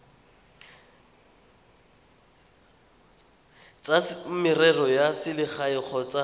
tsa merero ya selegae kgotsa